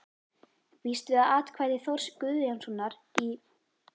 Ég býst við að atkvæði Þórs Guðjónssonar í